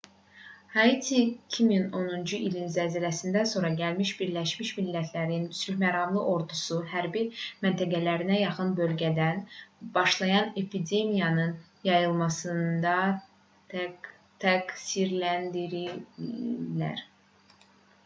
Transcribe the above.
haitiyə 2010-cu ilin zəlzələsindən sonra gəlmiş birləşmiş millətlərin sülhməramlı ordusu hərbi məntəqələrinə yaxın bölgədən başlayan epidemiyanın yayılmasında təqsirləndirilirlər